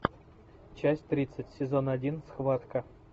часть тридцать сезон один схватка